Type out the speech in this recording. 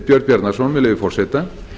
björn bjarnason með leyfi forseta